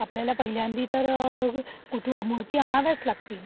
आपल्याला पहिल्यांदी तर कुठे मूर्ती आणाव्याच लागतील.